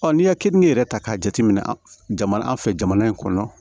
n'i ye keninke yɛrɛ ta k'a jateminɛ jamana fɛ jamana in kɔnɔ